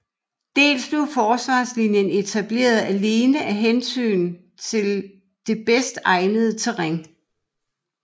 Dels blev forsvarslinjen etableret alene af hensyn til det bedst egnede terræn